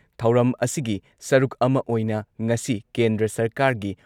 ꯊꯧꯔꯝ ꯑꯁꯤꯒꯤ ꯁꯔꯨꯛ ꯑꯃ ꯑꯣꯏꯅ ꯉꯁꯤ ꯀꯦꯟꯗ꯭ꯔ ꯁꯔꯀꯥꯔꯒꯤ